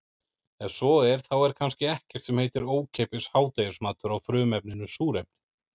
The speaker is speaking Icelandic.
Ef svo er þá er kannski ekkert sem heitir ókeypis hádegismatur á frumefninu súrefni.